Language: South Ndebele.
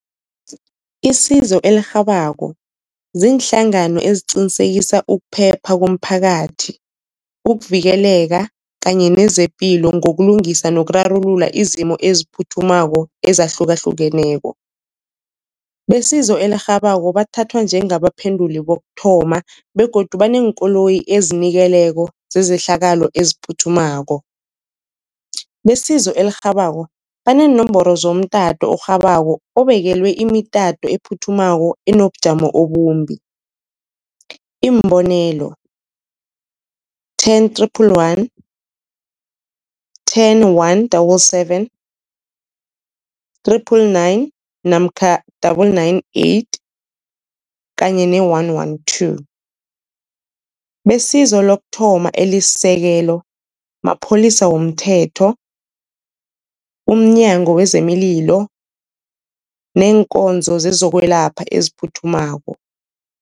Isizo elirhabako ziinhlangano eziqinisekisa ukuphepha komphakathi, ukuvikeleka kanye nezepilo ngokulungisa nokurarulula izimo eziphuthumako ezahlukahlukeneko. Besizo elirhabako bathathwa njengabaphenduli bokuthoma begodu baneenkoloyi ezinikeleko zezehlakalo eziphuthumako. Besizo elirhabako baneenomboro zomtato orhabako obekelwe imitato ephuthumako enobujamo obumbi, iimbonelo ten triple one, ten one double seven, triple nine namkha double nine eight kanye ne-one one two. Besizo lokuthoma elisisekelo mapholisa womthetho, umnyango wezeMililo neenkonzo zezokwelapha eziphuthumako.